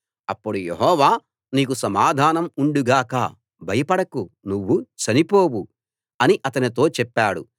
అప్పుడు యెహోవా నీకు సమాధానం ఉండు గాక భయపడకు నువ్వు చనిపోవు అని అతనితో చెప్పాడు